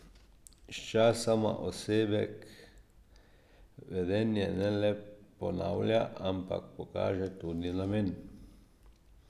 Sčasoma osebek vedenje ne le ponavlja, ampak pokaže tudi namen.